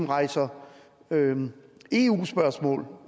rejser eu spørgsmål